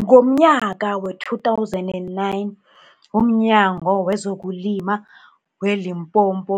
Ngomnyaka wee-2009, umNyango wezokuLima we-Limpopo